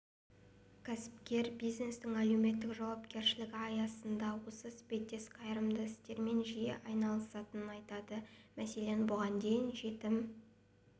кәсіпкер бизнестің әлеуметтік жауапкершілігі аясында осы іспеттес қайырымды істермен жиі айналысатынын айтады мәселен бұған дейін жетім